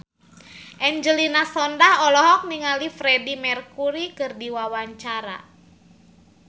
Angelina Sondakh olohok ningali Freedie Mercury keur diwawancara